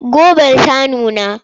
Gobar ta nuna?